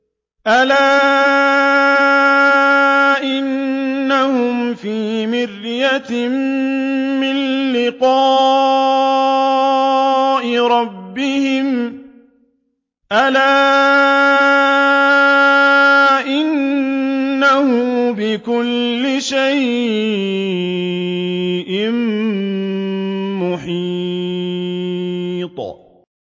أَلَا إِنَّهُمْ فِي مِرْيَةٍ مِّن لِّقَاءِ رَبِّهِمْ ۗ أَلَا إِنَّهُ بِكُلِّ شَيْءٍ مُّحِيطٌ